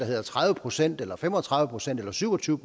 hedder tredive procent eller fem og tredive procent eller syv og tyve